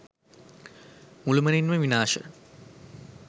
මුළුමනින්ම විනාශ